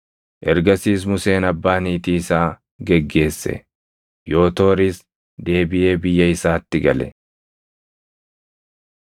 Ergasiis Museen abbaa niitii isaa geggeesse; Yootooris deebiʼee biyya isaatti gale.